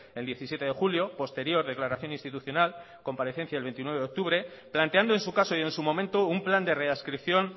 el diecisiete de julio posterior declaración institucional comparecencia el veintinueve de octubre planteando en su caso y en su momento un plan de readscripción